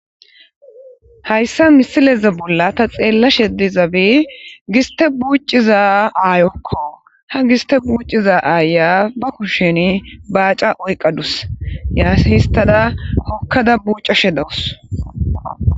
Hayisa misileza bolla ta xelashe dizayisi gisite bucida ayoko, he giste bucida aya ba kushen bacca oyikadusi hisitada hokada bucashe dawusi